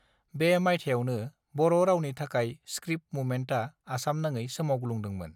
बे मायथाइयावनो बररावनि थाखाय स्क्रिप्ट मुभमेन्टआ आसामनाङै सोमावग्लुंदोंमोन